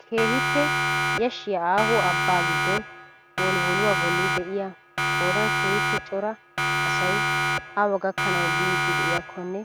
Keehippe yashshiyaa aaho abbaa giddon wolwolluwaa bolli de'iyaa qoodan keehippe cora asay awa gakkanwu biidi de'iyaakkonne